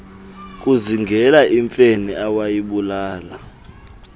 kuzingela imfene awayibulala